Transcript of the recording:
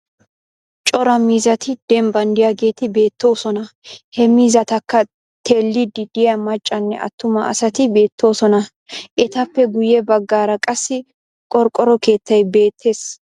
Cora miizzati dembban diyageeti beettoosona. He miizzatakka teelliiddi diya maccanne attuma asati beettoosona. Etappe guyye baggaara qassi qorqqoro keettay beettes.